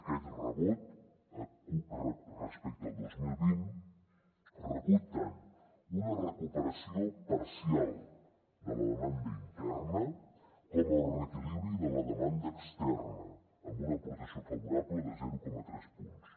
aquest rebrot respecte al dos mil vint recull tant una recuperació parcial de la demanda interna com el reequilibri de la demanda externa amb una aportació favorable de zero coma tres punts